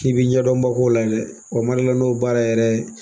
I b'i ɲɛdɔnbagaw layɛlɛ , ma dɔn n'o baara yɛrɛ